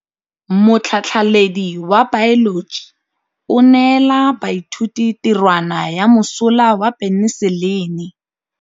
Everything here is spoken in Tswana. Motlhatlhaledi wa baeloji o neela baithuti tirwana ya mosola wa peniselene.